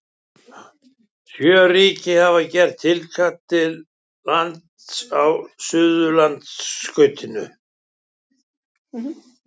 Sjö ríki hafa gert tilkall til lands á Suðurskautslandinu.